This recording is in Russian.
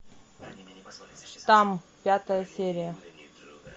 там пятая серия